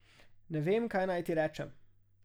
Ne vem, kaj naj ti rečem.